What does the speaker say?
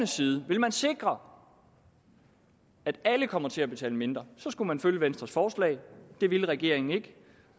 side vil man sikre at alle kommer til at betale mindre skulle man have fulgt venstres forslag det ville regeringen ikke